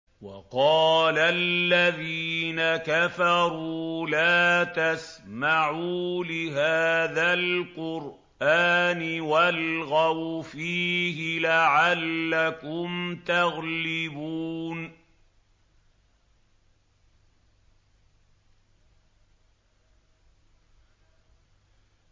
وَقَالَ الَّذِينَ كَفَرُوا لَا تَسْمَعُوا لِهَٰذَا الْقُرْآنِ وَالْغَوْا فِيهِ لَعَلَّكُمْ تَغْلِبُونَ